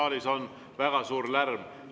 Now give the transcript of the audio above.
Saalis on väga suur lärm.